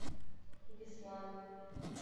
беслан